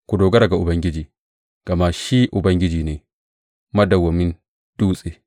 Ku dogara ga Ubangiji, gama shi Ubangiji, ne madawwamin Dutse.